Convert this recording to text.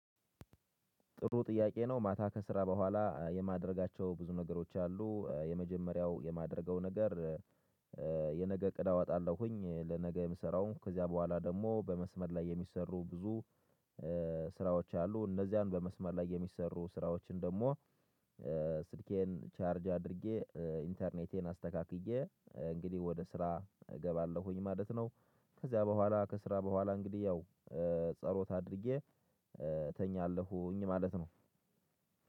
ጥሩ ጥያቄ ነው? ማታ ከስራ በኋላ የማደርጋቸው ብዙ ነገሮች አሉ የመጀመሪያው የማደርገው ነገር የነገ እቅድ አወጣለሁኝ። ለነገ የምሰራውን ከዚያ በኋላ ደግሞ በመስመር ላይ የሚሰሩ ብዙ ስራዎች አሉ። እነዚያን በመስመር ላይ የሚሰሩ ስራዎችን ደግሞ ስልኬን ቻርጅ አድርጌ ኢንተርኔቴን አስተካክዬ እንግዲህ ወደ ስራ እገባለሁኝ ማለት ነው። ከዚያ በኋላ ከስራ በኋላ እንግዲህ ያው ጸሎት አድርጌ እተኛለሁኝ ማለት ነው።